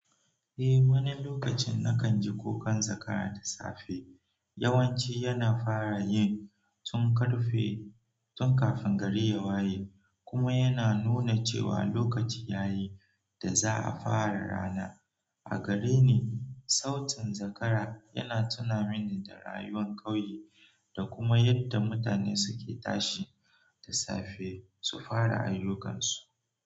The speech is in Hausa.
Eh, wani lokacin nakan ji kukan zakara da safe. Yawanci yana fara yi tun ƙarfe, tun kafin gari ya waye kuma yana nuna cewa lokaci ya yi da za a fara rana. A gare ni, sautin zakara yana tuna mini da rayuwar ƙauye da kuma yadda mutane suke tashi da safe su fara ayyukansu.